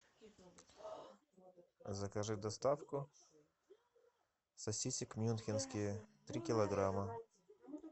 закажи доставку сосисек мюнхенские три килограмма